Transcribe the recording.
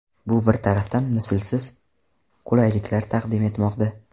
Bu bir tarafdan mislsiz qulayliklar taqdim etmoqda.